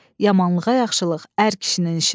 Yamanlığa yaxşılıq ər kişinin işidir.